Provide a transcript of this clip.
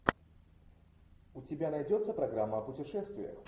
у тебя найдется программа о путешествиях